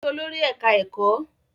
Lọ rí olórí ẹ̀ká ẹ̀kọ́!